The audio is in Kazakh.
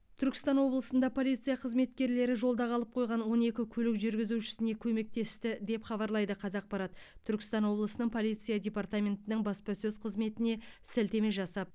түркістан облысында полиция қызметкерлері жолда қалып қойған он екі көлік жүргізушісіне көмектесті деп хабарлайды қазақпарат түркістан облысының полиция департаментінің баспасөз қызметіне сілтеме жасап